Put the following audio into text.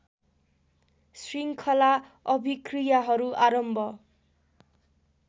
शृङ्खला अभिक्रियाहरू आरम्भ